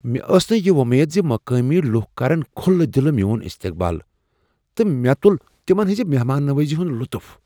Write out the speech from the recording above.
مےٚ ٲس نہٕ یہ وۄمیدٕ زِ مقٲمی لوٗکھ کرن کھلہٕ دلہٕ میون استقبال تہٕ مےٚ تُل تِمن ہٕنٛز مہمان نوٲزی ہنٛد لطف۔